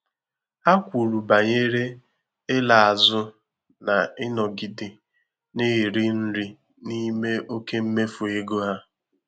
Ha kwuru banyere ịla azụ n'ịnọgide na-eri nri n'ime oke mmefu ego ha.